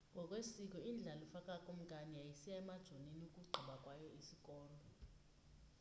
ngokwesiko indlalifa kakumkani yayisiya emajonini ukugqiba kwayo isikolo